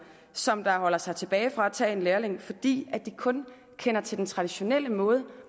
som holder sig tilbage fra at tage en lærling fordi de kun kender til den traditionelle måde